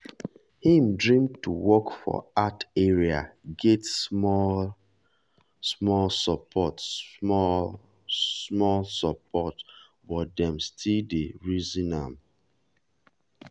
him dream to work for art area get small-small support small-small support but dem still dey reason am.